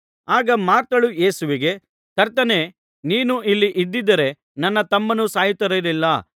ಆಗ ಮಾರ್ಥಳು ಯೇಸುವಿಗೆ ಕರ್ತನೇ ನೀನು ಇಲ್ಲಿ ಇದ್ದಿದ್ದರೆ ನನ್ನ ತಮ್ಮನು ಸಾಯುತ್ತಿರಲಿಲ್ಲ